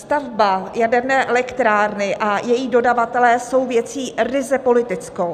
Stavba jaderné elektrárny a její dodavatelé jsou věcí ryze politickou.